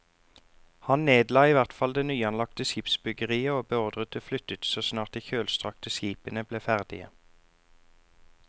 Han nedla i hvert fall det nyanlagte skipsbyggeriet og beordret det flyttet så snart de kjølstrakte skipene ble ferdige.